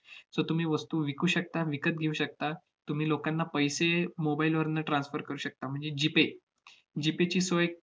so तुम्ही वस्तू विकू शकता, विकत घेऊ शकता, तुम्ही लोकांना पैसे mobile वरनं transfer करू शकता म्हणजे g-payg-pay ची सोय